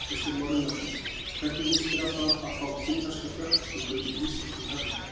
Kristján Már Unnarsson: Hvernig líst þér á það að fá kínverska fjárfestingu í íslenskum höfnum?